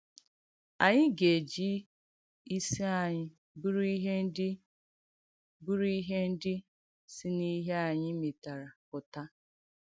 Ànyị̀ ga-ejì isì ànyị̀ bùrù ihè ndí bùrù ihè ndí sì n’ìhè ànyị̀ mèterè pụta.